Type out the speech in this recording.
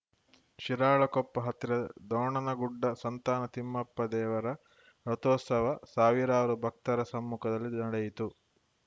ಶಿರಾಳಕೊಪ್ಪ ಹತ್ತಿರದ ದೋಣನಗುಡ್ಡ ಸಂತಾನ ತಿಮ್ಮಪ್ಪ ದೇವರ ರಥೋತ್ಸವ ಸಾವಿರಾರು ಭಕ್ತರ ಸಮ್ಮುಖದಲ್ಲಿ ನಡೆಯಿತು